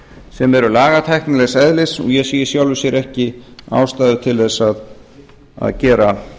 sem eru lagatæknilegs eðlis og ég sé í sjálfu sér ekki ástæðu til þess að gera